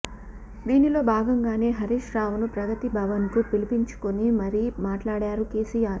దీనిలో భాగంగానే హరీష్ రావును ప్రగతి భవన్ కు పిలిపించుకుని మరీ మాట్లాడారు కేసీఆర్